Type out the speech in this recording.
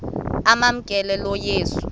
amamkela lo yesu